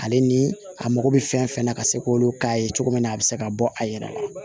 Ale ni a mago bɛ fɛn fɛn na ka se k'olu k'a ye cogo min na a bɛ se ka bɔ a yɛrɛ la